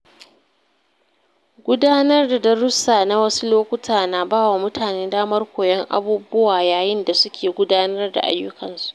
Gudanar da darussa na wasu lokuta na ba wa mutane damar koyon abubuwa yayin da suke gudanar da ayyukan su.